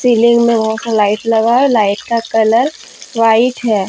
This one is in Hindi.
सीलिंग में बहोत सा लाइट लगा है लाइट का कलर व्हाइट है।